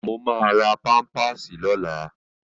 Mo máa ra pámpàsì lọ́la